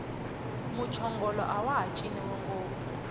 muchongolo awaha ciniwi ngopfu